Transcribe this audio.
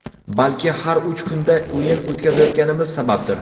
Balki har uch kunda o‘yin o‘tkazayotganimiz sababdir.